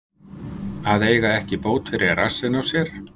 Að eiga ekki bót fyrir rassinn á sér